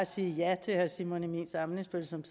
sige ja til herre simon emil ammitzbøll som